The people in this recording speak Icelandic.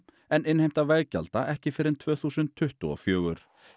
en innheimta veggjalda ekki fyrr en tvö þúsund tuttugu og fjögur